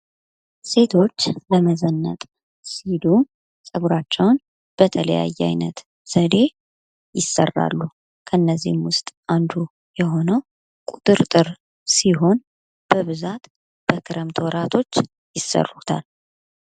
ሴቶች ለመዘነጥ ሲሉ ጸጉራቸውን በተለያየ አይነት ዘዴ ይሰራሉ። ከነዚህም ውስጥ አንዱ የሆነው ቁጥርጥር ሲሆን በብዛት በክረምት ወራቶች ይሰሩታል።